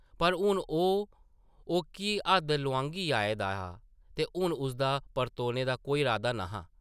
पर हून ओह् ओʼक्की हद्द लोआंघी आए दा हा ते हून उसदा परतोने दा कोई इरादा न’हा ।